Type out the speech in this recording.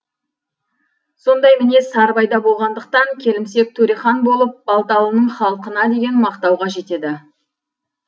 сондай мінез сарыбайда болғандықтан келімсек төрехан болып балталының халқына деген мақтауға жетеді